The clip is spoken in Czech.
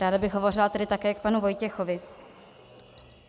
Dále bych hovořila tedy také k panu Vojtěchovi.